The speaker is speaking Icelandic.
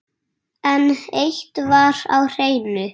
En eitt var á hreinu.